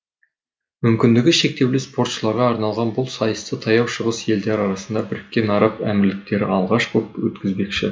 мүмкіндігі шектеулі спортшыларға арналған бұл сайысты таяу шығыс елдері арасында біріккен араб әмірліктері алғаш боп өткізбекші